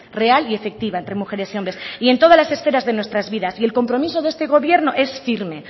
real y efectiva entre mujeres y hombres y en todas las esferas de nuestras vidas y el compromiso de este gobierno es firme